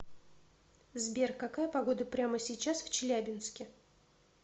сбер какая погода прямо сейчас в челябинске